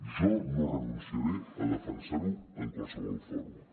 jo no renunciaré a defensar ho en qualsevol fòrum